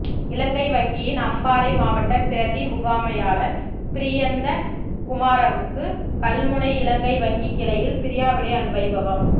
இலங்கை வங்கியின் அம்பாறை மாவட்ட பிரதி முகாமையாளர் பிரியந்த குமாரவுக்கு கல்முனை இலங்கை வங்கி கிளையில் பிரியாவிடை வைபவம்